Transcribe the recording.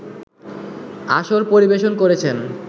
আসর পরিবেশন করেছেন